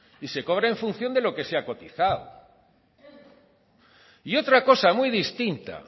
y se cobra en función de lo que se ha cotizado y otra cosa muy distinta